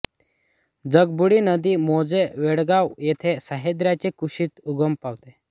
जगबुडी नदी मोजे वडगाव येथे सह्याद्रीच्या कुशीत उगम पावते